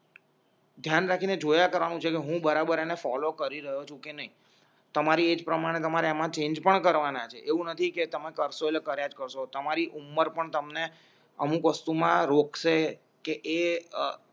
ધ્યાન રાખીને જોયા કરવાનું છે એટલે હું બરાબર અને ફોલો કરી રહ્યો છું કે નઈ તમારી એજ પ્રમાણે તમારેમાં ચેન્જ પણ કરવાના છે એવું નથી કે તમે કરશો એટલે કરીયાજ કરશો તમારી ઉંમર પણ તમને અમુક વસ્તુ માં રોકશે કે એ અ